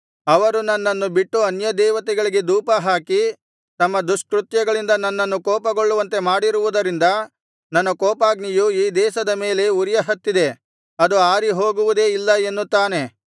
ಅವರು ನನ್ನನ್ನು ಬಿಟ್ಟು ಅನ್ಯದೇವತೆಗಳಿಗೆ ಧೂಪಹಾಕಿ ತಮ್ಮ ದುಷ್ಕೃತ್ಯಗಳಿಂದ ನನ್ನನ್ನು ಕೋಪಗೊಳ್ಳುವಂತೆ ಮಾಡಿರುವುದರಿಂದ ನನ್ನ ಕೋಪಾಗ್ನಿಯು ಈ ದೇಶದ ಮೇಲೆ ಉರಿಯಹತ್ತಿದೆ ಅದು ಆರಿಹೋಗುವುದೇ ಇಲ್ಲ ಎನ್ನುತ್ತಾನೆ